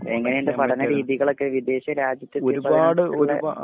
എങ്ങനെയുണ്ട് പഠന രീതികളൊക്കെ വിദേശ രാജ്യത്ത്